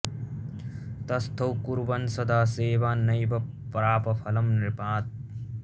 तस्थौ कुर्वन् सदा सेवान् नैव प्राप फलं नृपात्